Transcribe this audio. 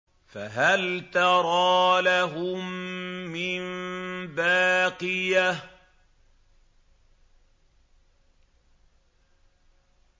فَهَلْ تَرَىٰ لَهُم مِّن بَاقِيَةٍ